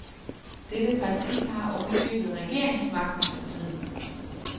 Dette parti har oven i købet regeringsmagten for tiden.